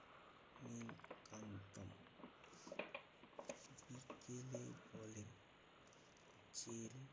নীলকান্ত। বিকেলে বলেন যে,